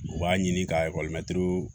U b'a ɲini ka ekɔlimɛtiriw